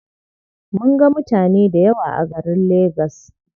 Mun ga mutane dayawa a garin lagas.